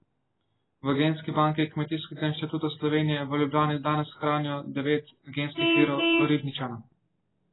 V genski banki Kmetijskega inštituta Slovenije v Ljubljani danes hranijo devet genskih virov ribničana.